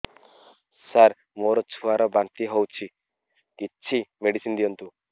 ସାର ମୋର ଛୁଆ ର ବାନ୍ତି ହଉଚି କିଛି ମେଡିସିନ ଦିଅନ୍ତୁ